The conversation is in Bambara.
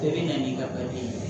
Bɛɛ bɛ na ni ka ye